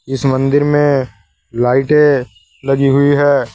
इस मंदिर में लाइटें लगी हुई है।